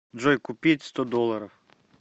джой купить сто долларов